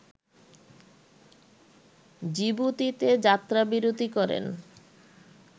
জিবুতিতে যাত্রাবিরতি করেন